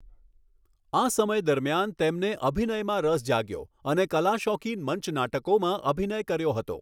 આ સમય દરમિયાન, તેમણે અભિનયમાં રસ જાગ્યો અને કલાશોખીન મંચ નાટકોમાં અભિનય કર્યો હતો.